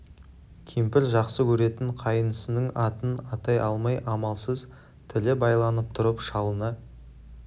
кемпір жақсы көретін қайнысының атын атай алмай амалсыз тілі байланып тұрып шалына